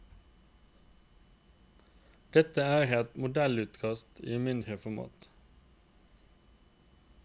Dette er et modellutkast i mindre format.